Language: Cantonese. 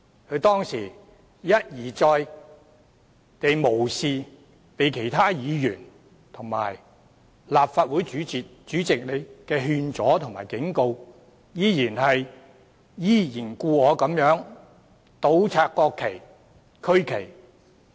他當時一而再地無視其他議員和立法會主席的勸阻和警告，依然故我地倒插國旗及區旗。